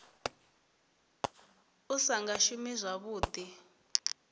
u sa nga shumi zwavhuḓi